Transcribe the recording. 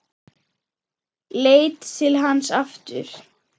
Leit til hans aftur.